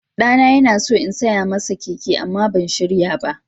Ɗana yana so in saya masa keke amma ban shirya ba.